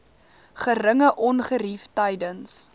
geringe ongerief tydens